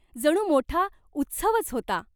जणू मोठा उत्सवच होता.